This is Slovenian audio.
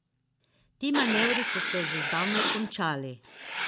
Ti manevri so se že zdavnaj končali.